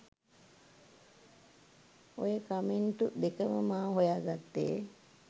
ඔය කමෙන්ටු දෙකම මා හොයා ගත්තේ